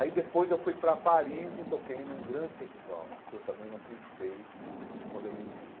Aí depois eu fui para Paris e toquei num grande festival, que eu também não acreditei quando eu me vi.